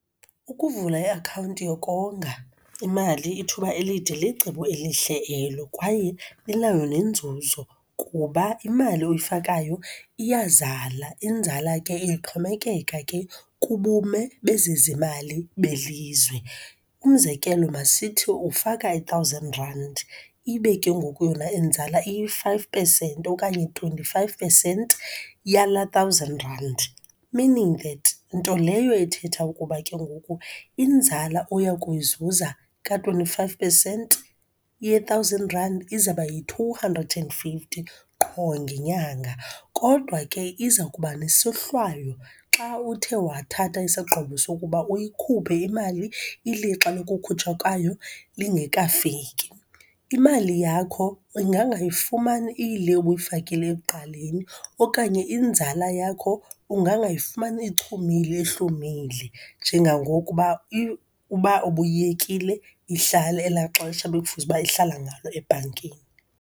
Ukuvula i-akhawunti yokonga imali ithuba elide, licebo elihle elo, kwaye inayo nenzuzo kuba imali oyifakayo iyazala. Inzala ke ixhomekeka ke kubume bezezimali belizwe. Umzekelo, masithi ufaka i-thousand randi, ibe ke ngoku yona inzala i-five pesenti okanye twenty-five pesenti yala thousand randi, meaning that nto leyo ithetha ukuba ke ngoku inzala oya kuyizuza ka-twenty-five pesenti ye-thousand rand, izawuba yi-two hundred and fifty qho ngenyanga. Kodwa ke iza kuba nesohlaywo xa uthe wathatha isigqibo sokuba uyikhuphe imali ilixa lokukhutshwa kwayo lingekafiki. Imali yakho ungangayifumani iyile ubuyifakile ekuqaleni, okanye inzala yakho ungangayifumani ichumile, ihlumile njengangoku uba uba ubuyekile ihlale ela xesha bekufuze uba ihlala ngalo ebhankini.